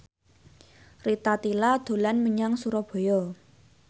Rita Tila dolan menyang Surabaya